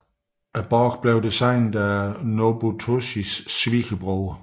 Borgen blev designet af Nobutoshis svigerbror